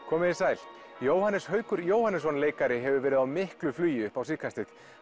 komiði sæl Jóhannes Haukur Jóhannesson leikari hefur verið á miklu flugi upp á síðkastið